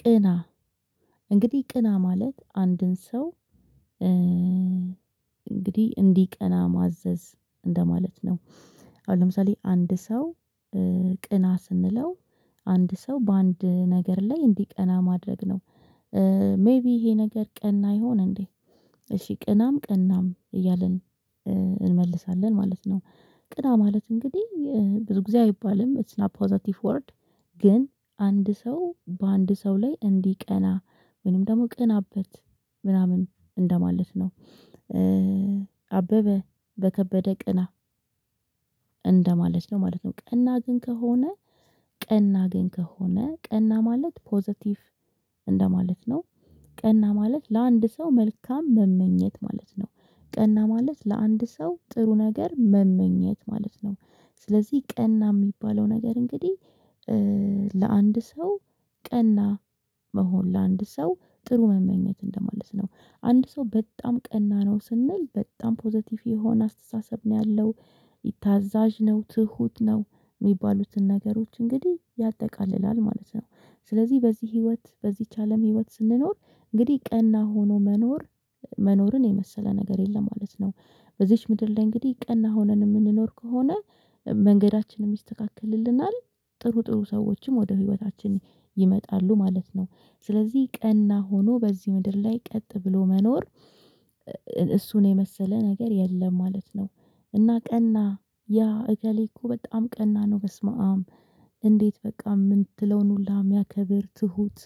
ቅና እንግዲህ ቅና ማለት አንድን ሰው እንግዲህ እንዲቀና ማዘዝ እንደማለት ነው። አሁን ለምሳሌ አንድ ሰው ቅና ስንለው አንድ ሰው በአንድ ነገር ላይ እንዲቀና ማድረግ ነው። ሜይቢ ይሄ ነገር ቀና ይሆን እንዴ? እሺ ቅናም ቅናም እያልን እንመልሳለን ማለት ነው። ቅና ማለት እንግዲህ ብዙ ጊዜ አይባልም ኢትስ ናት ፖዘቲቭ ወርድ ግን አንድ ሰው በአንድ ሰው ላይ እንዲቀና ምንም ደግሞ ቅናበት ምናምን እንደማለት ነው። አበበ በከበደ ቅና እንደማለት ነው ማለት ነው ቀና ግን ከሆነ ቀና ግን ከሆነ ቀና ማለት ፖዘቲቭ እንደማለት ነው። ቀና ማለት ለአንድ ሰው መልካም መመኘት ማለት ነው ቀና ማለት ለአንድ ሰው ጥሩ ነገር መመኘት ማለት ነው። ስለዚህ ቀና የሚባለው ነገር እንግዲህ ለአንድ ሰው ቀና መሆን ለአንድ ሰው ጥሩ መመኘት እንደማለት ነው። አንድ ሰው በጣም ቀና ነው ስንል በጣም ፖዘቲቭ የሆነ አስተሳሰብ ነው ያለው ታዛዥ ነው ትሁት ነው የሚባሉትን ነገሮች እንግዲህ ያጠቃልላል ማለት ነው። ስለዚህ በዚህ ህይወት በዚህች አለም ህይወት ስንኖር እንግዲህ ቀና ሆኖ መኖር መኖርን የመሰለ ነገር የለም ማለት ነው። በዚች ምድር ላይ እንግዲህ ቀና ሆነን የምንኖር ከሆነ መንገዳችንም ይስተካከልልናል ጥሩ ጥሩ ሰዎችም ወደ ህይወታችን ይመጣሉ ማለት ነው። ስለዚህ ቀና ሆኖ በዚህ ምድር ላይ ቀጥ ብሎ መኖር እሱን የመሰለ ነገር የለም ማለት ነው። እና ቀና ያ እገሌ እኮ በጣም ቀና ነው በስመአም እንዴት በቃ የምትለውን ሁላ የሚያከብር ትሁት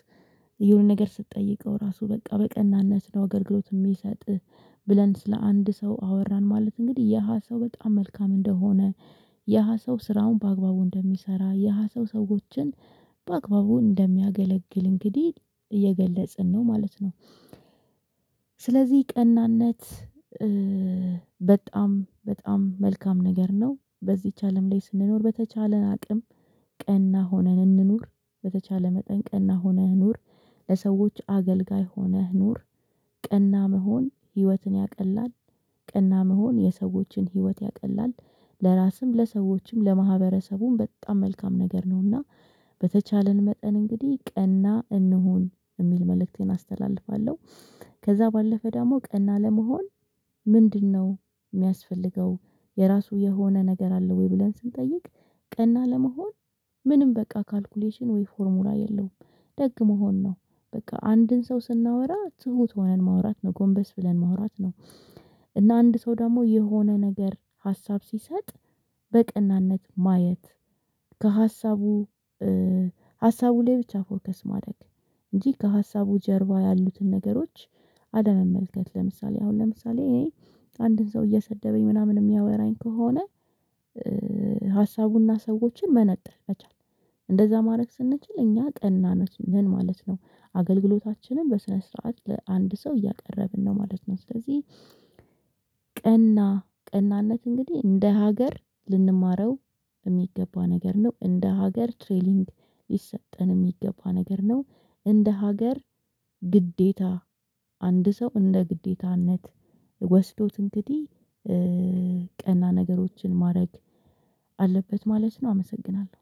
የሆነ ነገር ስትጠይቀው ራሱ በቃ በቅንነት ነው አገልግሎት የሚሰጥ። ብለን ስለ አንድ ሰው አወራን ማለት እንግዲህ የሃ ሰው በጣም መልካም እንደሆነ የሃ ሰው ስራውን በአግባቡ እንደሚሰራ የሃ ሰው ሰዎችን በአግባቡ እንደሚያገለግል እንግዲህ እየገለጽን ነው ማለት ነው። ስለዚህ ቀናነት በጣም በጣም መልካም ነገር ነው በዚች አለም ላይ ስንኖር በተቻለን አቅም ቀና ሆነን እንኑር። በተቻለ መጠን ቀና ሆነህ ኑር። ለሰዎች አገልጋይ ሆነህ ኑር። ቀና መሆን ህይወትን ያቀላል ቀና መሆን የሰዎችን ህይወት ያቀላል ለራስም ለሰዎችም ለማህበረሰቡም በጣም መልካም ነገር ነውና። በተቻለን መጠን እንግዲህ ቀና እንሁን የሚል መልእክቴን አስተላልፋለሁ። ከዛ ባለፈ ደግሞ ቀና ለመሆን ምንድነው? የሚያስፈልገው የራሱ የሆነ ነገር አለ ወይ ብለን ስንጠይቅ ቀና ለመሆን ምንም በቃ ካልኩሌሽን ወይ ፎርሙላ የለውም። ደግ መሆን ነው። በቃ አንድን ሰው ስናወራ ትሁት ሆነን ማውራት ጎንበስ ብለን ማውራት ነው። እና አንድ ሰው ደግሞ የሆነ ነገር ሀሳብ ሲሰጥ በቅንነት ማየት ከሀሳቡ ሀሳቡ ላይ ብቻ ፎከስ ማደግ እንጂ ከሀሳቡ ጀርባ ያሉትን ነገሮች አለመመልከት ለምሳሌ አሁን ለምሳሌ አንድን ሰው እየሰደበኝ ምናምን የሚያወራኝ ከሆነ ሀሳቡና ሰዎችን መነጠል መቻል እንደዛ ማድረግ ስንችል እኛ ቀና ነው ምን ማለት ነው? አገልግሎታችንን በስነ ስርዓት ለአንድ ሰው እያቀረብን ነው ማለት ነው። ስለዚህ ቀናነት እንግዲህ እንደ ሀገር ልንማረው የሚገባ ነገር ነው እንደ ሀገር ትሬሊንግ ሊሰጠን የሚገባ ነገር ነው። እንደ ሀገር ግዴታ አንድ ሰው እንደ ግዴታነት ወስዶት እንግዲህ ቀና ነገሮችን ማድረግ አለበት ማለት ነው። አመሰግናለሁ